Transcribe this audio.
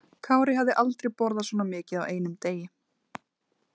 Kári hafði aldrei borðað svona mikið á einum degi.